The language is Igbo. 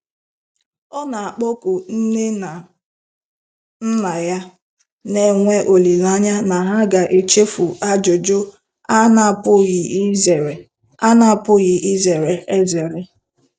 Ọ na-akpọku Nne na Nna ya, na-enwe olileanya na ha ga-echefu ajụjụ a na-apụghị izere a na-apụghị izere ezere.